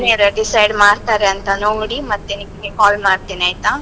decide ಮಾಡ್ತಾರೆ ಅಂತ ನೋಡಿ, ಮತ್ತೆ ನಿಮ್ಗೆ call ಮಾಡ್ತೇನೆ ಆಯ್ತಾ?